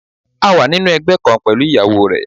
A wà nínú ẹgbẹ́ kan pẹ̀lú ìyàwó rẹ̀.